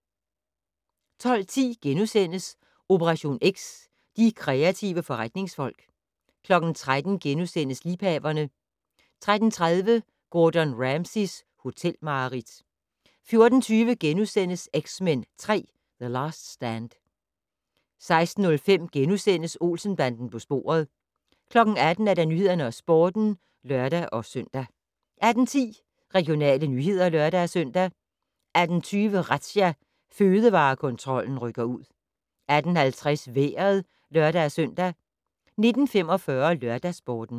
12:10: Operation X: De kreative forretningsfolk * 13:00: Liebhaverne * 13:30: Gordon Ramsays hotelmareridt 14:20: X-Men 3: The Last Stand * 16:05: Olsen-banden på sporet * 18:00: Nyhederne og Sporten (lør-søn) 18:10: Regionale nyheder (lør-søn) 18:20: Razzia - Fødevarekontrollen rykker ud 18:50: Vejret (lør-søn) 19:45: LørdagsSporten